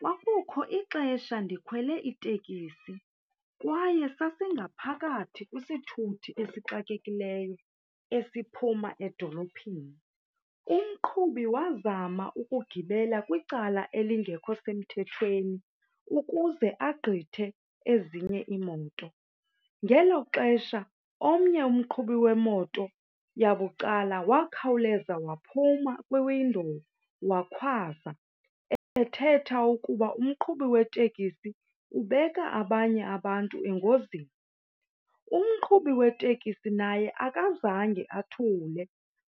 Kwakukho ixesha ndikhwele itekisi kwaye sasingaphakathi kwisithuthi esixakekileyo esiphuma edolophini. Umqhubi wazama ukugibela kwicala elingekho semthethweni ukuze agqithe ezinye iimoto, ngelo xesha omnye umqhubi wemoto yabucala wakhawuleza waphuma kwi-window wakhwaza ethetha ukuba umqhubi wetekisi ubeka abanye abantu engozini. Umqhubi weteksi naye akazange athule,